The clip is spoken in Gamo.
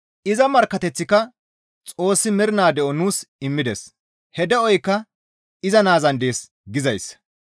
Iza markkateththika Xoossi mernaa de7o nuus immides; he de7oykka iza Naazan dees gizayssa.